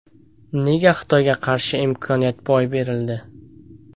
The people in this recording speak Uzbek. Nega Xitoyga qarshi imkoniyat boy berildi?